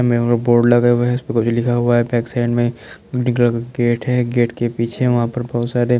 हमे उने बोर्ड लगे हुए है इसपे कुछ लिखा हुआ है पेकसेन में डीगल गेट है गेट के पीछे वहा पर बहोत सारे--